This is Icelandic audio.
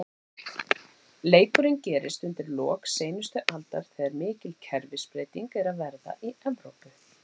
Leikurinn gerist undir lok seinustu aldar, þegar mikil kerfisbreyting er að verða í Evrópu.